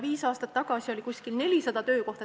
Viis aastat tagasi oli umbes 400 töökohta.